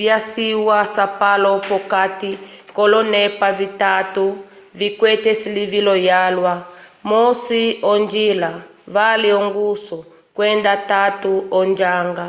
vyaciwa asapulo p’okati k’olonepa vitatu vikwete esilivilo lyalwa: 1 onjila 2 ongusu kwenda 3 onjanga